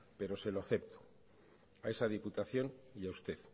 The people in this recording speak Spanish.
pero se lo acepto a esa diputación y a usted